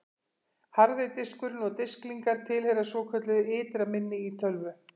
Harði diskurinn og disklingar tilheyra svokölluðu ytra minni í tölvu.